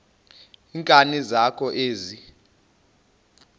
nkani zakho ezi